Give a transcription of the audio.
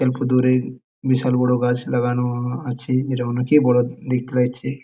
অল্পদূরে বিশাল বড়ো গাছ লাগানো-ও আছে যেটা অনেক বড়ো দেখতে র‍্য়েছে।